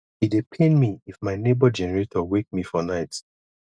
e dey pain me if my nebor generator wake me for night